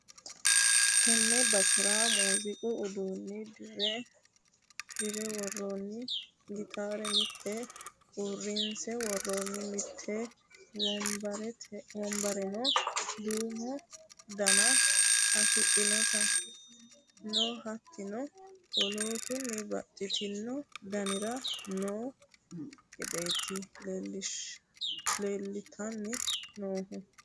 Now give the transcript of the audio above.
Tene basera muziiqu uduune dirre woronni gitare mite uurrinse woronni, mite wombareno duumo dana afidhinoti no, hattono woloottuno babbaxxitino daniri noo gedeti leellittanni noohu.